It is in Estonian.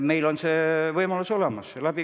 Meil on see võimalus olemas.